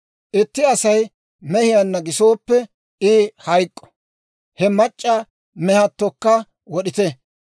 « ‹Itti Asay mehiyaanna gisooppe, I hayk'k'o; he mac'c'a mehattokka wod'ite.